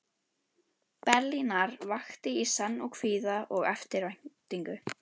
Berlínar vakti í senn kvíða og eftirvæntingu.